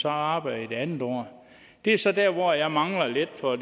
arbejder i det andet år det er så der hvor jeg mangler lidt for